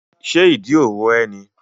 Ṣé ìdí ro ẹ́ ni?